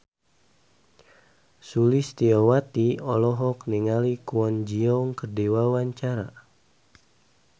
Sulistyowati olohok ningali Kwon Ji Yong keur diwawancara